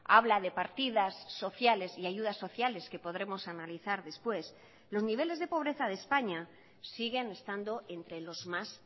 habla de partidas sociales y ayudas sociales que podremos analizar después los niveles de pobreza de españa siguen estando entre los más